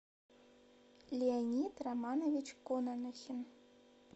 леонид романович кононохин